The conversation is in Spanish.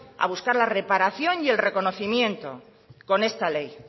a buscar la reparación y el reconocimiento con esta ley